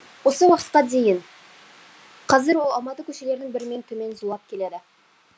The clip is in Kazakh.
осы уақытқа дейін қазір ол алматы көшелерінің бірімен төмен зулап келеді